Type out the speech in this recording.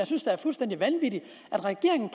synes er fuldstændig vanvittige regeringen